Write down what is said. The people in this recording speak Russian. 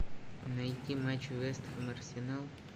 найти матч вест хэм арсенал